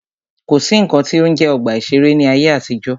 Kò sí nnkan tí ó ń jẹ́ ọgbà ìṣẹ̀rẹ́ ní ayé àtijọ́.